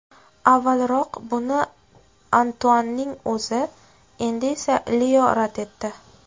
Avvalroq buni Antuanning o‘zi, endi esa Leo rad etdi.